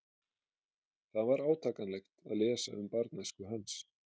Það var átakanlegt að lesa um barnæsku hans.